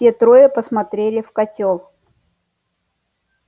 все трое посмотрели в котёл